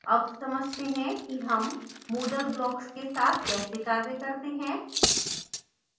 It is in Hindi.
अब समझते हैं कि हम moodle blocks के साथ कैसे कार्य कर सकते हैं